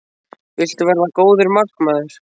Viltu verða góður markmaður?